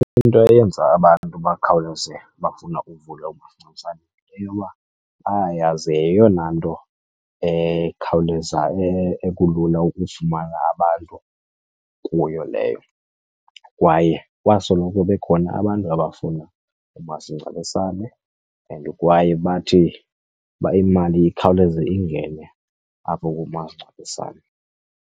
Into eyenza abantu bakhawuleze bafuna uvula umasingcwabisane yile yoba bayayazi yeyona nto ekhawuleza ekulula ukufumana abantu kuyo leyo. Kwaye kwasoloko bekhona abantu abafuna umasingcwabisane and kwaye bathi uba imali ikhawuleze ingene apho kumasingcwabisane.